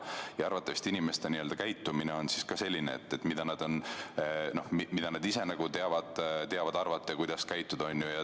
Ja arvatavasti inimesed käituvad siis ka nii, nagu nad ise oskavad arvata, kuidas tuleb käituda.